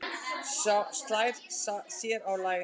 Slær sér á lær.